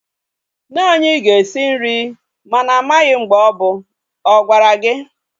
Nne anyi ga-esi nri mana amaghi mgbe o bu. Ọ gwara gi?